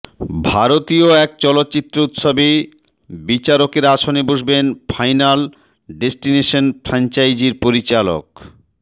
ভারতীয় এক চলচ্চিত্র উৎসবে বিচারকের আসনে বসবেন ফাইনাল ডেস্টিনেশন ফ্রাঞ্চাইজির পরিচালক